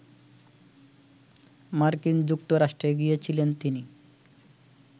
মার্কিন যুক্তরাষ্ট্রে গিয়েছিলেন তিনি